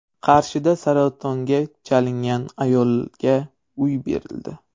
Qarshida saratonga chalingan ayolga uy berildi.